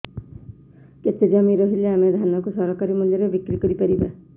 କେତେ ଜମି ରହିଲେ ଆମେ ଧାନ କୁ ସରକାରୀ ମୂଲ୍ଯରେ ବିକ୍ରି କରିପାରିବା